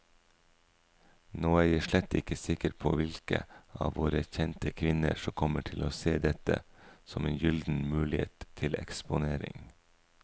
Nå er jeg slett ikke sikker på hvilke av våre kjente kvinner som kommer til å se dette som en gyllen mulighet til eksponering.